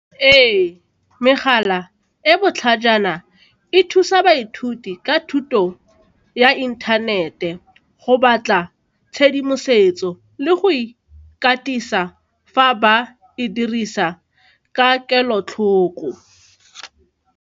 Ee, megala e botlhajana e thusa baithuti ka thuto ya inthanete go batla tshedimosetso le go ikatisa fa ba e dirisa ka kelotlhoko.